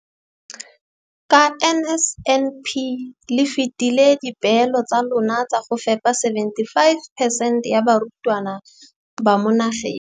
Ka NSNP le fetile dipeelo tsa lona tsa go fepa masome a supa le botlhano a diperesente ya barutwana ba mo nageng.